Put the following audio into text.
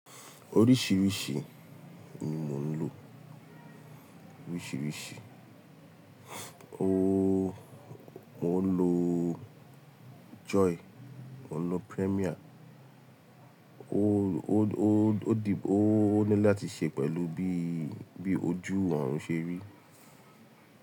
Oríṣiríṣi ni mò ń lò, oríṣiríṣi. Oòo, mò ń lò Joy, mò ń lò Premier. Oóó o di, ó nílò láti ṣe pẹ̀lú bí, bí ojú ọ̀run ṣe rí.